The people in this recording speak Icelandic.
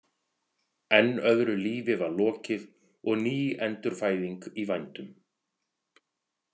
Enn öðru lífi var lokið og ný endurfæðing í vændum.